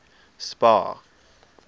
spar